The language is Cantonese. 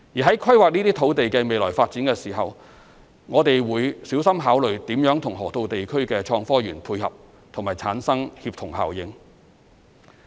在規劃這些土地的未來發展時，我們會小心考慮如何與河套地區的創科園配合及產生協同效應。